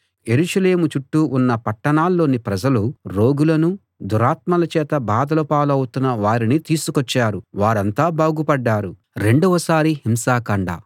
యెరూషలేము చుట్టూ ఉన్న పట్టణాల్లోని ప్రజలు రోగులనూ దురాత్మల చేత బాధల పాలౌతున్న వారిని తీసుకొచ్చారు వారంతా బాగుపడ్డారు